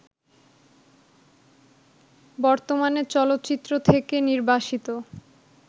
বর্তমানে চলচ্চিত্র থেকে নির্বাসিত